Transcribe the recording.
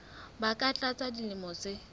ba ka tlasa dilemo tse